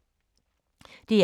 DR1